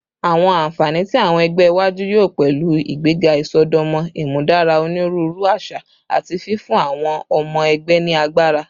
Awọn anfani ti awọn ẹgbẹ iwaju yoo pẹlu igbega isọdọmọ, imudara oniruuru aṣa, ati fifun awọn ọmọ ẹgbẹ ni agbara